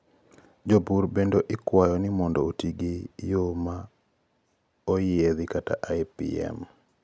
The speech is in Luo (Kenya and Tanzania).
jopur bende ikwayo ni mondo oti gi yo ma oyiedhikata IPM mani ma onyuando yure duto te mag geng'o jaath duto te